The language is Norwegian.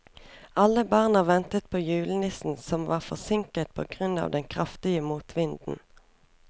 Alle barna ventet på julenissen, som var forsinket på grunn av den kraftige motvinden.